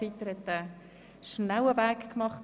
Er hat sich also sehr beeilt.